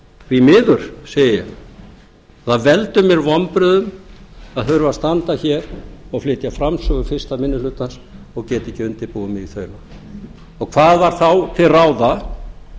því miður segi ég það veldur mér vonbrigðum að þurfa að standa hér og flytja framsögu fyrsti minni hlutans og geta ekki undirbúið mig í þaula og hvað var þá til ráða